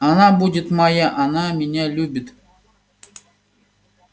она будет моя она меня любит